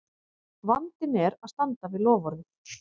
Vandinn er að standa við loforðið!